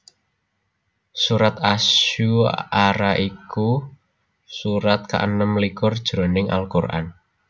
Surat Asy Syu ara iku surat kaenem likur jroning Al Qur an